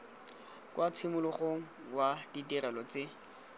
kwa tshimologong wa ditirelo tse